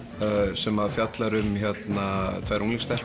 sem fjallar um að tvær unglingsstelpur